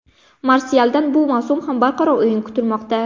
Marsyaldan bu mavsum ham barqaror o‘yin kutilmoqda.